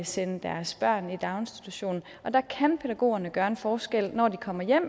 sende deres børn i daginstitution der kan pædagogerne gøre en forskel når de kommer hjem